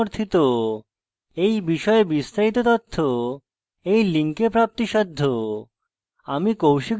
এই বিষয়ে বিস্তারিত তথ্য এই লিঙ্কে প্রাপ্তিসাধ্য